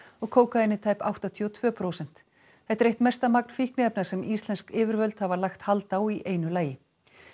og kókaínið tæp áttatíu og tvö prósent þetta er eitt mesta magn fíkniefna sem íslensk yfirvöld hafa lagt hald á í einu lagi